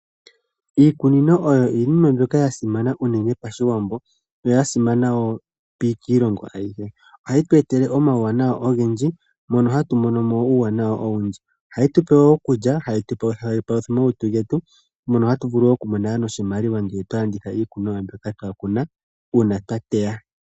Iikunino oyo iinima mbyoka yasimana unene pashiwambo yo yasimano wookiilongo ayihe yo ohayi tuetele omauwanawa ogendi mono hatu monomo uuwanawa owundji ohayi tupe okulya hayi palutha omalutu getu mono hatu vulu nokumonamo noshimaliwa ngele twalanditha iikuniwa mbyoka twakuna uuna twa teya.